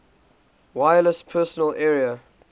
wireless personal area